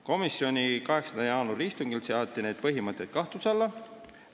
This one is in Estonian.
Komisjoni 8. jaanuari istungil seati need põhimõtted kahtluse alla.